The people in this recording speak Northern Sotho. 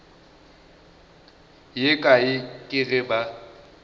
ye kae ke ge ba